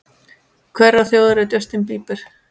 Hverrar þjóðar er Justin Bieber?